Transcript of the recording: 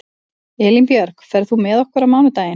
Elínbjörg, ferð þú með okkur á mánudaginn?